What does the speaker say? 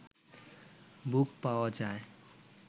বুক পাওয়া যায়